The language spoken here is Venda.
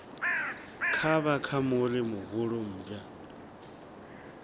kavha ka muri muhulu mmbwa